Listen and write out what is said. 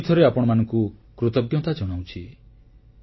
ମୁଁ ପୁଣିଥରେ ଆପଣମାନଙ୍କୁ କୃତଜ୍ଞତା ଜଣାଉଛି